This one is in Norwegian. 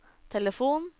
telefon